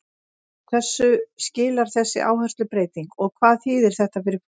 En hverju skilar þessi áherslubreyting og hvað þýðir þetta fyrir fólk?